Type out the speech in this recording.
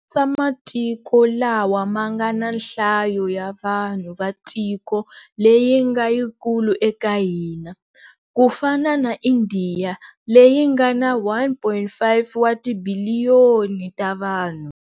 Katsa matiko lawa ma nga na nhlayo ya vanhu va tiko leyi nga yikulu eka ya hina, ku fana na Indiya leyi nga na 1.5 wa tibiliyoni ta vanhu.